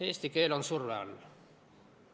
Eesti keel on surve all.